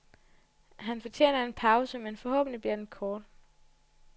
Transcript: Han fortjener en pause, men forhåbentlig bliver den kort.